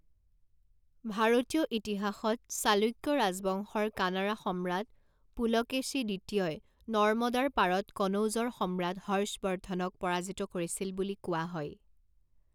ভাৰতীয় ইতিহাসত, চালুক্য ৰাজবংশৰ কানাড়া সম্ৰাট পুলকেশী দ্বিতীয়ই নৰ্মদাৰ পাৰত কনৌজৰ সম্ৰাট হৰ্ষবৰ্ধনক পৰাজিত কৰিছিল বুলি কোৱা হয়।